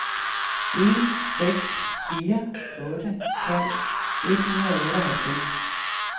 en seks fire otte tolv et hundrede og otteoghalvfems